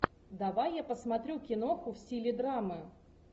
давай я посмотрю киноху в стиле драмы